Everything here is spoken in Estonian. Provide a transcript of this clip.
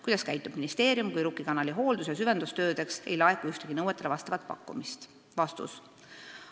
Kuidas käitub ministeerium, kui Rukki kanali hooldus- ja süvendustöödeks ei laeku ühtegi nõuetele vastavat pakkumist?